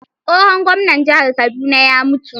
Tsohon gwamnan jihar Kaduna ya mutu